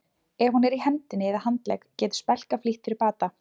Ef hún er í hendinni eða handlegg getur spelka flýtt fyrir bata.